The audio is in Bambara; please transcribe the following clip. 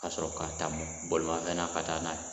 Ka sɔrɔ ka taa bolimafɛn ka taa n'a ye.